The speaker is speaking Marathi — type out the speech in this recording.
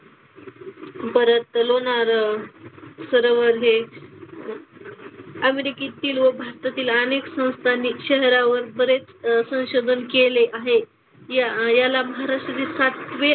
परत लोणार सरोवर हे अमेरिकेतील व भारतातील अनेक संस्थांनी सरोवरावर बरेच अह संशोधन केले आहे. या याला महाराष्ट्रातील सातवे,